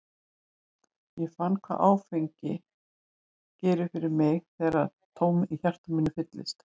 Ég fann hvað áfengi gerir fyrir mig, hvernig tómið í hjarta mínu fyllist.